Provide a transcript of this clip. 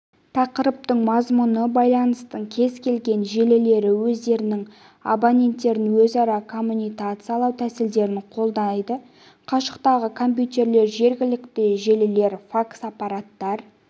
тақырыптың мазмұны байланыстың кез келген желілері өздерінің абоненттерін өзара коммутациялау тәсілдерін қолдайды қашықтағы компьютерлер жергілікті желілер факс-аппараттар